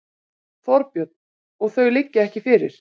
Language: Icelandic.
Þorbjörn: Og þau liggja ekki fyrir?